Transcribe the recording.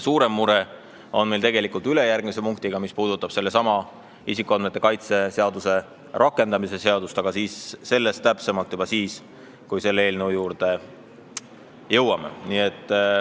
Suurem mure on meil päevakorra ülejärgmise punktiga, isikuandmete kaitse seaduse rakendamise seaduse eelnõuga, aga sellest täpsemalt juba siis, kui me selle juurde jõuame.